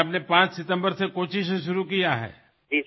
তেন্তে এতিয়া আপুনি ৫ ছেপ্টেম্বৰৰ পৰা কোচিৰ পৰা আৰম্ভ কৰিছে